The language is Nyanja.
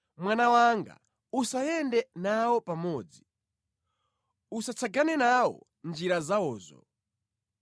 Mwana wanga, usayende nawo pamodzi, usatsagane nawo mʼnjira zawozo.